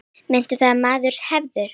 Meta það sem maður hefur.